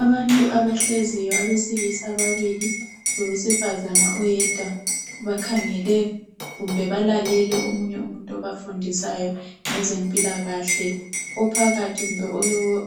Abantu abahleziyo abesilisa ababili, lowesifazane oyedwa. Bakhangele kumbe balalele omunye umuntu obafundisayo ngezempilakahle. Ophakathi kumbe